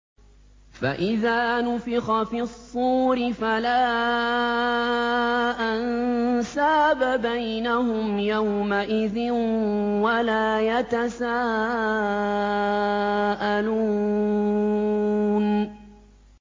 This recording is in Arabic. فَإِذَا نُفِخَ فِي الصُّورِ فَلَا أَنسَابَ بَيْنَهُمْ يَوْمَئِذٍ وَلَا يَتَسَاءَلُونَ